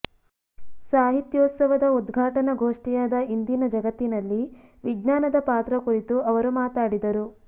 ಸಾಹಿತ್ಯೋತ್ಸವದ ಉದ್ಘಾಟನಾ ಗೋಷ್ಠಿಯಾದ ಇಂದಿನ ಜಗತ್ತಿನಲ್ಲಿ ವಿಜ್ಞಾನದ ಪಾತ್ರ ಕುರಿತು ಅವರು ಮಾತಾಡಿದರು